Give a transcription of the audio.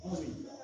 Ɔ